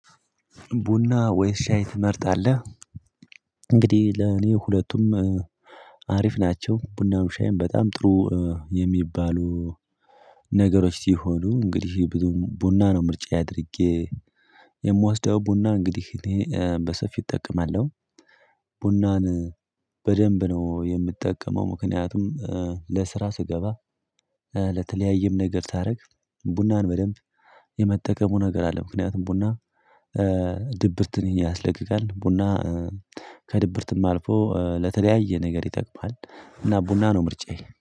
ቡና ወይስ ሻይ ትመርጣለህ? እንግዲህ ለኔ ሁለቱም አሪፍ ናቸው ቡናም ሻይም በጣም ጥሩ የሚባሉ ነገሮች ሲሆኑ። እንግዲህ ቡና ነው ምርጫዬ አድርጌ የምዋስደው ቡና እንግዲህ እኔ በሰፊው እጠቀማለሁ። ቡናን በደንብ ነው የምትጠቀመው ምክንያቱም ለስራ ስገባ ለተለያየም ነገር ሳደርግ ቡናን በደንብ የመጠቀሙ ነገር አለ። ምክንያቱም ቡና ድብርትን ያስለቅቃል ቡና ከድብርትም አልፎ ለተለያየ ነገር ይጠቅማል እና ቡና ነው ምርጫዬ